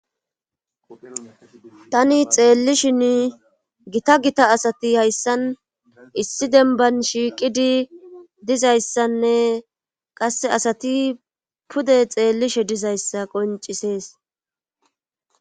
tani xeellishinn gita gita asati hayssan issi denban shiiqidi dizayssanne qasse asati pude xeellishe dizayssa qoncisees